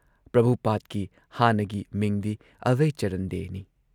ꯄ꯭ꯔꯚꯨꯄꯥꯗꯀꯤ ꯍꯥꯟꯅꯒꯤ ꯃꯤꯡꯗꯤ ꯑꯚꯢꯆꯔꯟ ꯗꯦꯅꯤ ꯫